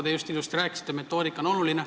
Te just ilusasti rääkisite, et metoodika on oluline.